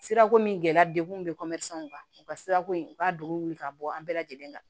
Sirako min gɛlɛya degun bɛ kan u ka sira ko in u ka don wuli ka bɔ an bɛɛ lajɛlen kan